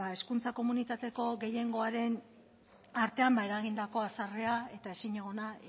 hezkuntza komunitateko gehiengoaren artean eragindako haserrea eta ezinegona